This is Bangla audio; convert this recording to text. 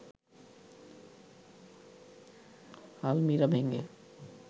আলমিরা ভেঙে